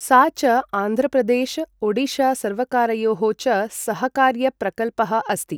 सा च आन्ध्रप्रदेश ओडिशासर्वकारयोः च सहकार्यप्रकल्पः अस्ति।